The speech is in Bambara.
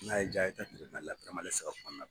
N'a ye ja a ye ta tiribinali peremɛrande saba kɔnɔna na